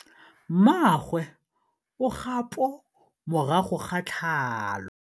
Mmagwe o kgapô morago ga tlhalô.